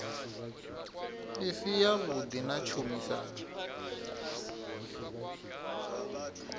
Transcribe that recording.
i si yavhuḓi na tshumisano